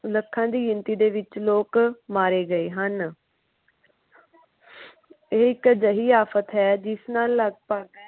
ਲੱਖਾਂ ਦੀ ਗਿਣਤੀ ਦੇ ਵਿੱਚ ਲੋਕ ਮਾਰੇ ਗਏ ਹਨ ਇਹ ਇੱਕ ਅਜੇਹੀ ਆਫ਼ਤ ਹੈ ਜਿਸ ਨਾਲ ਲੱਗਭਗ